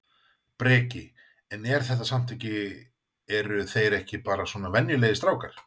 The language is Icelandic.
Breki: En er þetta samt ekki eru þeir ekki bara svona venjulegir strákar?